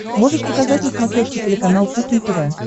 можешь показать на смотрешке телеканал кухня тв